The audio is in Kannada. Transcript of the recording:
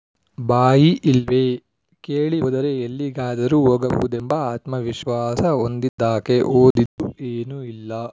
ಬಾಯಿ ಇಲ್ವೇ ಕೇಳಿ ಹೋದರೆ ಎಲ್ಲಿಗಾದರೂ ಹೋಗಬಹುದೆಂಬ ಆತ್ಮವಿಶ್ವಾಸ ಹೊಂದಿದ್ದಾಕೆ ಓದಿದ್ದು ಏನೂ ಇಲ್ಲ